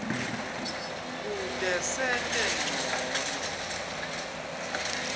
kute sente ncono